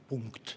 Punkt.